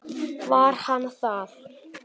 Var hann það?